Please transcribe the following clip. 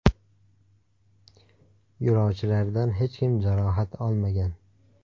Yo‘lovchilardan hech kim jarohat olmagan.